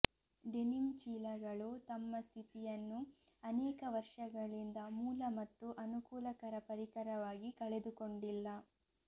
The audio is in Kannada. ಡೆನಿಮ್ ಚೀಲಗಳು ತಮ್ಮ ಸ್ಥಿತಿಯನ್ನು ಅನೇಕ ವರ್ಷಗಳಿಂದ ಮೂಲ ಮತ್ತು ಅನುಕೂಲಕರ ಪರಿಕರವಾಗಿ ಕಳೆದುಕೊಂಡಿಲ್ಲ